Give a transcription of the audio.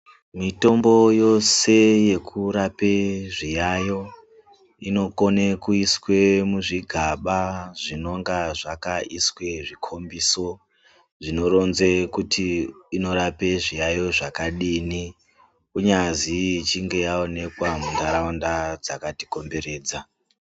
Mitombo yose yekurape zviyayiyo inokone kuiswe muzvigaba zvinonga zvakaiswe zvikombiso zvinoronze kuti inorape zviyayiyo zvakadini kunyazi ichinge yaonekawa mundaraunda dzakati komberedza.